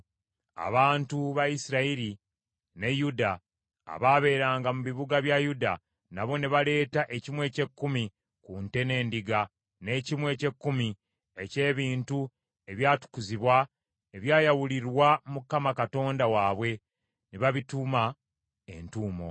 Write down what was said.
Abantu ba Isirayiri ne Yuda abaabeeranga mu bibuga bya Yuda, nabo ne baleeta ekimu eky’ekkumi ku nte n’endiga, n’ekimu eky’ekkumi eky’ebintu ebyatukuzibwa ebyayawulirwa Mukama Katonda waabwe, ne babituuma entuumo.